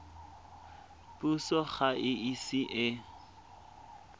puso ga e ise e